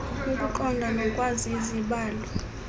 ukuqonda nokwazi izibalo